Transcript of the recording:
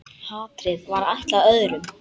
Hatrið var ætlað öðrum.